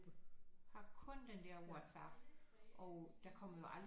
Har kun den der Whatsapp og der kommer jo aldrig